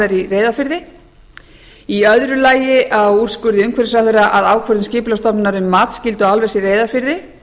í reyðarfirði í öðru lagi á úrskurði umhverfisráðherra að ákvörðun skipulagsstofnunar um matsskyldu álvers í reyðarfirði